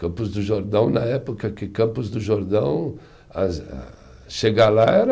Campos do Jordão, na época que Campos do Jordão, as a, chegar lá era